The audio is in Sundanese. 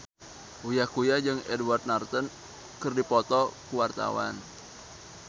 Uya Kuya jeung Edward Norton keur dipoto ku wartawan